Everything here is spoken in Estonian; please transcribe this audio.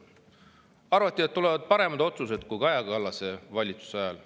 Arvati, et tulevad paremad otsused kui Kaja Kallase valitsuse ajal.